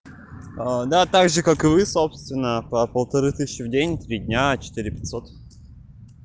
да так же как и вы собственно по полторы тысячи в день три дня четыре пятьсот